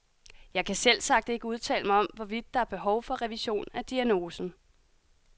Jeg kan selvsagt ikke udtale mig om, hvorvidt der er behov for revision af diagnosen.